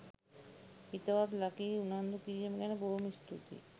හිතවත් ලකී උනන්දු කිරිම ගැන බොහොම ස්තුතියි.